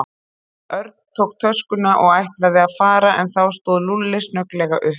Örn tók töskuna og ætlaði að fara en þá stóð Lúlli snögglega upp.